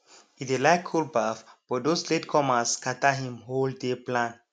e dey like cold baff but those late comers scatter him whole day plan